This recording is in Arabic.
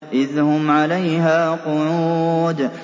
إِذْ هُمْ عَلَيْهَا قُعُودٌ